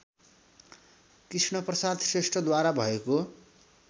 कृष्णप्रसाद श्रेष्ठद्वारा भएको